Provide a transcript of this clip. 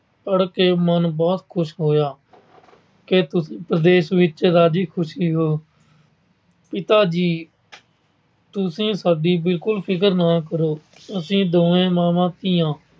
ਪੜ੍ਹਕੇ ਮਨ ਬਹੁਤ ਖੁਸ਼ ਹੋਇਆ ਕਿ ਪ੍ਰਦੇਸ਼ ਵਿੱਚ ਰਾਜੀ ਖੁਸ਼ੀ ਹੋ। ਪਿਤਾ ਜੀ, ਤੁਸੀਂ ਸਾਡੀ ਬਿਲਕੁਲ ਫਿਕਰ ਨਾ ਕਰੋ। ਅਸੀਂ ਦੋਨੋਂ ਮਾਵਾਂ ਧੀਆਂ